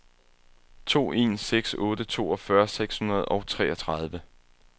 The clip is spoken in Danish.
to en seks otte toogfyrre seks hundrede og treogtredive